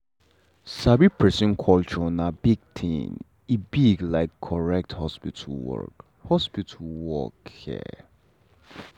sabi person culture na big thing e big like correct hospital work. hospital work. um